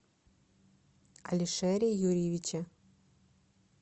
алишере юрьевиче